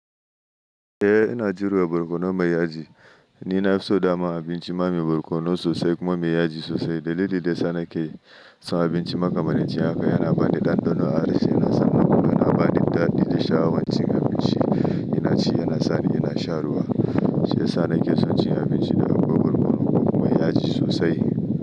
Eh, ina jurewa barkono mai yaji. Ni nafi so dama abinci ma mai barkono sosai kuma mai yaji sosai. Dalili da yasa nake son abinci makamancin haka yana bani ɗanɗano. Harshe yana sani kuma yana bani ɗanɗano da sha'awan cin abinci. Ina ci yana sani ina shan ruwa. Shi ya sa nake son cin abinci da akwai borkono ko kuma mai yaji sosai.